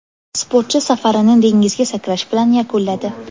Sportchi safarini dengizga sakrash bilan yakunladi.